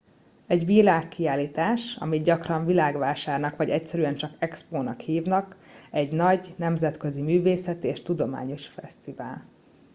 egy világkiállítás amit gyakran világvásárnak vagy egyszerűen csak expónak hívnak egy nagy nemzetközi művészeti és tudományos fesztivál